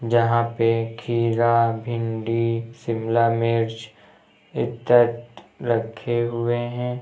जहां पे खीरा भिंडी शिमला मिर्च इत्या रखे हुए है।